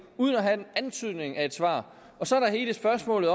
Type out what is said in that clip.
uden at have antydning af et svar så er der hele spørgsmålet